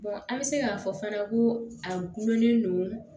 an bɛ se k'a fɔ fana ko a gulonlen don